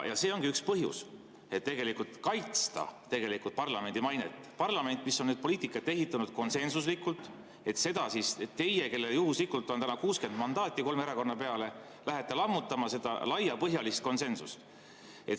See ongi üks põhjus: et tegelikult kaitsta parlamendi mainet – parlamendi, mis on poliitikat ehitanud konsensuslikult –, et teie, kellel juhuslikult on täna 60 mandaati kolme erakonna peale, läheks lammutama seda laiapõhjalist konsensust.